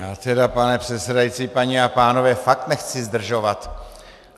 Já tedy, pane předsedající, paní a pánové, fakt nechci zdržovat.